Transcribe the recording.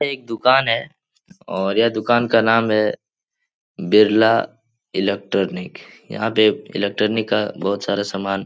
एक दुकान है और यह दुकान का नाम है बिरला इलेक्ट्रॉनिक । यहाँ पे इलेक्ट्रॉनिक का बहोत सारा सामान --